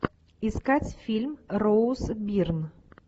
искать фильм роуз бирн